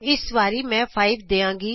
ਇਸ ਵਾਰੀ ਮੈਂ 5 ਦਿਆਂਗੀ